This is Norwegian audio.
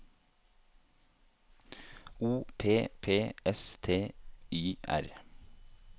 O P P S T Y R